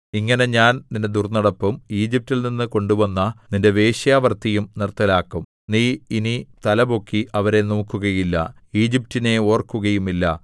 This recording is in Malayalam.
ഇങ്ങനെ ഞാൻ നിന്റെ ദുർന്നടപ്പും ഈജിപ്റ്റിൽനിന്നു കൊണ്ടുവന്ന നിന്റെ വേശ്യാവൃത്തിയും നിർത്തലാക്കും നീ ഇനി തലപൊക്കി അവരെ നോക്കുകയില്ല ഈജിപ്റ്റിനെ ഓർക്കുകയുമില്ല